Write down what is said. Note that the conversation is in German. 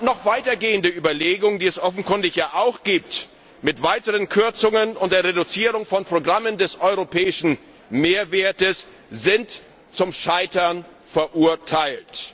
Noch weiter gehende Überlegungen, die es offenkundig ja auch gibt, mit weiteren Kürzungen und der Reduzierung von Programmen mit einem europäischen Mehrwert sind zum Scheitern verurteilt.